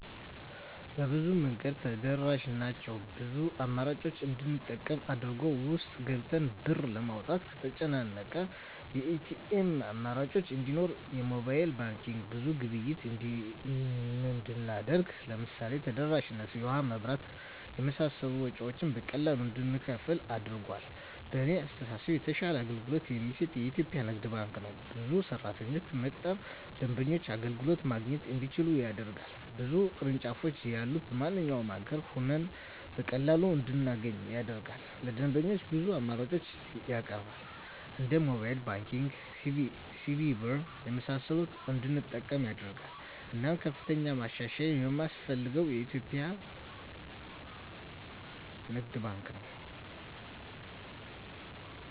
በብዙ መንገድ ተደራሽ ናቸው ብዙ አማራጮችን እንድንጠቀም አድርጎል። ውስጥ ገብተን ብር ለማውጣት ከተጨናነቀ የኤቲኤም አማራጮች እንዲኖር የሞባይል ባንኪንግ ብዙ ግብይት እንድናደርግ ለምሳሌ ተደራሽነቱ የውሀ, የመብራት የመሳሰሉ ወጭወችን በቀላሉ እንድንከፍል አድርጓል። በእኔ አስተሳሰብ የተሻለ አገልግሎት የሚሰጥ የኢትዪጵያ ንግድ ባንክ ነው። ብዙ ሰራተኞችን በመቅጠር ደንበኞች አገልግሎት ማግኘት እንዲችሉ ያደርጋል። ብዙ ቅርንጫፎች ያሉት በማንኛውም አገር ሆነን በቀላሉ እንድናገኝ ያደርጋል። ለደንበኞች ብዙ አማራጮችን ያቀርባል እንደ ሞባይል ባንኪንግ, ሲቢኢ ብር , የመሳሰሉትን እንድንጠቀም ያደርጋል። እናም ከፍተኛ ማሻሻያ የማስፈልገው የኢትዮጵያ ንግድ ባንክ ነው።